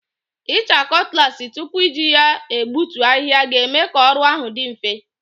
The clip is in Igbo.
Ịcha cutlass tupu iji ya egbutu ahịhịa ga-eme ka ọrụ ahụ dị mfe.